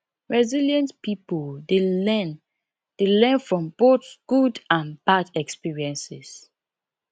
resilient pipo dey learn dey learn from both good and bad experiences